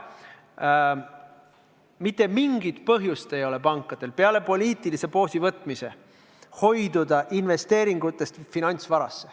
Pankadel ei ole mitte mingit põhjust, peale poliitilise poosi võtmise, hoiduda finantsvarasse investeerimast.